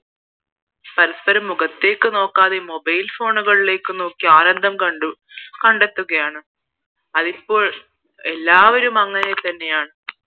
പരസ്പരം മുഖത്തേക്ക് നോക്കാതെ Mobile phone ലേക്ക് നോക്കി ആനന്ദം കണ്ടു കണ്ടെത്തുകയാണ് അതിപ്പോൾ എല്ലാവരും അങ്ങനെ തന്നെയാണ്